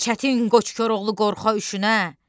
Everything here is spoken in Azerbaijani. Çətin qoç Koroğlu qorxa üşünə,